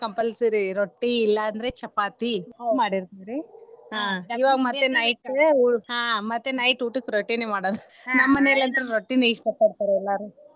Compulsory ರೊಟ್ಟಿ ಇಲ್ಲಾಂದ್ರ ಚಪಾತಿ ಮಾಡಿರ್ತೇನ್ರಿ ಮತ್ತೆ night ಊಟಕ್ಕ ರೊಟ್ಟಿನೇ ಮಾಡೋದು ನಮ್ಮನೇಲಿ ಅಂತ್ರು ರೊಟ್ಟಿನ ಇಷ್ಟಾ ಪಡ್ತಾರ ಎಲ್ಲಾರು.